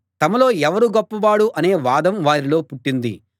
తమలో ఎవరు గొప్పవాడు అనే వాదం వారిలో పుట్టింది